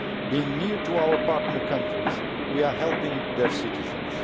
By being nearer to our partner countries we are helping their citizens.